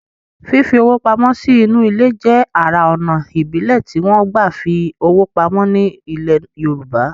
Fífi owó pamọ́ sí inú ilẹ̀ jẹ́ ara ònà ìbílẹ̀ tí wọ́n gbà fi owó pamọ́ ní ilẹ̀ yorùbá